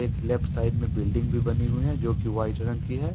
Left side में building भी बनी हुई है जो की वाइट रंग की है।